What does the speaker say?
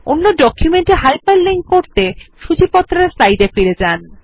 অন্য ডকুমেন্ট এ hyperlink করতে সূচীপত্র এর স্লাইডে ফিরে যান